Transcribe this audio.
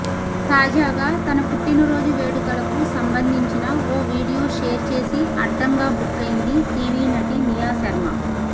తాజాగా తన పుట్టినరోజు వేడుకలకు సంబంధించిన ఓ వీడియో షేర్ చేసి అడ్డంగా బుక్కైంది టీవీ నటి నియా శర్మ